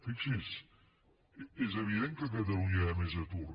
fixi’s és evident que a catalunya hi ha més atur